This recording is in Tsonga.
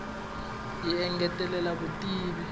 yi engetela vutivi